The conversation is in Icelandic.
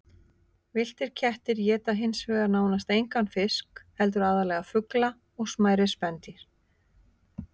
Villtir kettir éta hins vegar nánast engan fisk heldur aðallega fugla og smærri spendýr.